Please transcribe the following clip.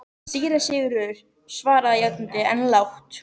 Síra Sigurður svaraði játandi, en lágt.